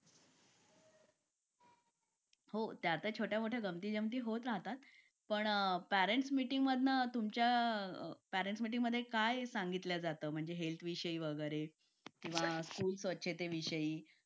मीटिंगमधून तुमच्या पॅरिसमध्ये काय सांगितलं जातं? म्हणजे हेल्थ विषयी वगैरे तेव्हा खूप स्वच्छतेविषयी